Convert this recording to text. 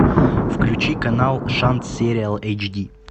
включи канал шанс сериал эйч ди